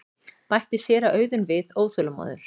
bætti séra Auðunn við óþolinmóður.